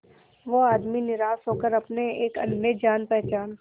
वो आदमी निराश होकर अपने एक अन्य जान पहचान